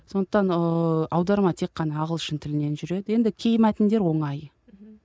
сондықтан ыыы аударма тек қана ағылшын тілінен жүреді енді кей мәтіндер оңай